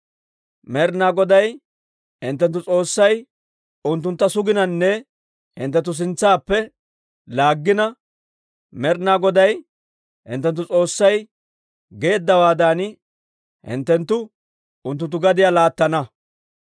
Med'ina Goday hinttenttu S'oossay unttuntta sugananne hinttenttu sintsaappe laaggina Med'ina Goday hinttenttu S'oossay geeddawaadan, hinttenttu unttunttu gadiyaa laattana.